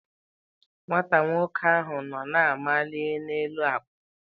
Nwata nwoke ahụ nọ na-amali n'elu akwa.